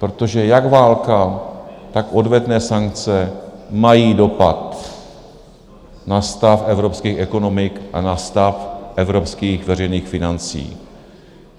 Protože jak válka, tak odvetné sankce mají dopad na stav evropských ekonomik a na stav evropských veřejných financí.